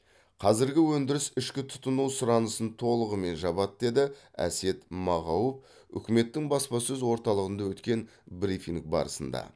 қазіргі өндіріс ішкі тұтыну сұранысын толығымен жабады деді әсет мағауов үкіметтің баспасөз орталығында өткен брифинг барысында